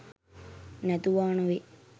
නැතුවා නොවේ.